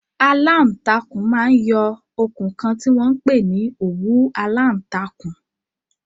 Aláàtakùn máa ń yọ okùn kan tí wọ́n ń pè ní òwú aláǹtakùn.